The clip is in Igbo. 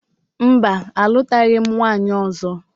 Mba, alụtaghị m nwaanyị ọzọ